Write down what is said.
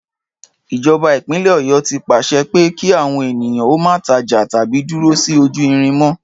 Ìjọba ìpínlè Ọ̀yọ́ ti pàṣẹ pé kí àwọn ènìyàn ó má tajà tàbí dúró sí ojú irin mọ́